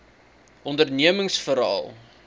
ondernemingsveral